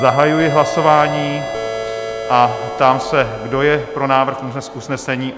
Zahajuji hlasování a ptám se, kdo je pro návrh usnesení?